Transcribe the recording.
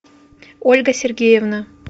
ольга сергеевна